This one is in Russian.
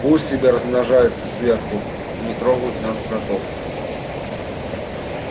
пусть себе размножаются сверху и не трогают нас кротов